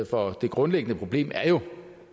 for det grundlæggende problem er jo